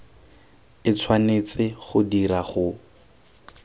e tshwanetse go dirwa go